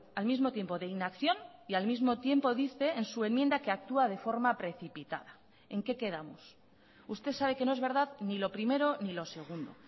al mismo tiempo de inacción y al mismo tiempo dice en su enmienda que actúa de forma precipitada en qué quedamos usted sabe que no es verdad ni lo primero ni lo segundo